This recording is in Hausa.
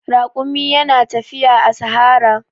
Raƙumi yana tafiya a sahara.